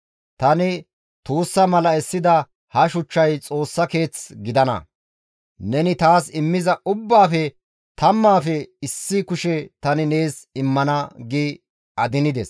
Tani tuussa mala essida ha shuchchay Xoossa keeth gidana; neni taas immiza ubbaafe tammaafe issi kushe tani nees immana» gi adinettides.